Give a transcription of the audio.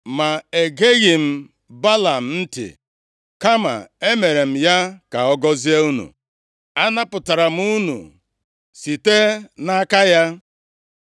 Ma egeghị m Belam ntị. Kama emere m ya ka ọ gọzie unu. Anapụtara m unu site nʼaka ya.